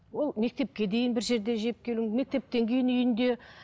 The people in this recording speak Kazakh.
ол мектепке дейін бір жерде жеп келуі мектептен кейін үйінде